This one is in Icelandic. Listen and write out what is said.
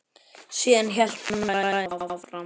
Síðan hélt hann ræðunni áfram